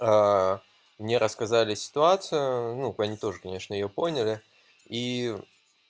аа мне рассказали ситуацию ну они тоже конечно её поняли ии